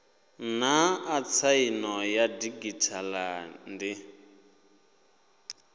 naa tsaino ya didzhithala ndi